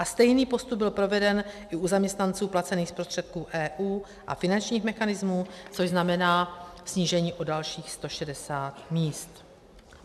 A stejný postup byl proveden i u zaměstnanců placených z prostředků EU a finančních mechanismů, což znamená snížení o dalších 160 míst.